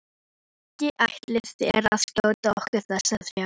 Ekki ætlið þér að skjóta okkur þessa þrjá?